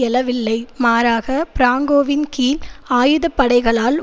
எழவில்லை மாறாக பிராங்கோவின் கீழ் ஆயுதப்படைகளால்